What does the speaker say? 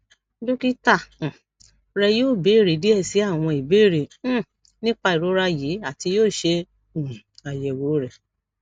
dokita um rẹ yoo beere diẹ sii awọn ibeere um nipa irora yii ati yoo ṣe um ayẹwo rẹ